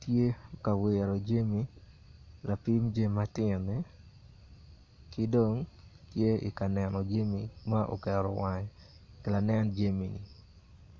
tye ka wiro jami lapim jami matino-ni ki dong tye ka neno jami ma dong oketo wange i lanen jami.